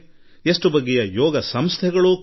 ಅವರವರದೇ ಆದ್ಯತೆಗಳಿವೆ